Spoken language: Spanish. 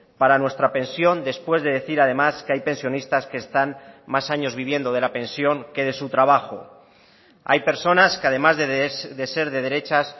para nuestra pensión después de decir además que hay pensionistas que están más años viviendo de la pensión que de su trabajo hay personas que además de ser de derechas